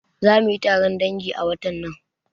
Zamuyi taron dangi a watan nan